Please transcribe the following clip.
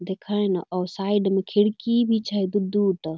देखै ना औ साइड म खिड़की भी छै दू-दू ट।